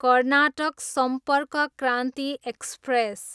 Karnataka Sampark Kranti express